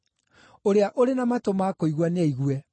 Ũrĩa ũrĩ na matũ ma kũigua nĩaigue.